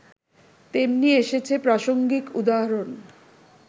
তেমনি এসেছে প্রাসঙ্গিক উদাহরণ